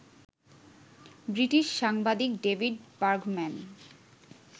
British সাংবাদিক David Bergman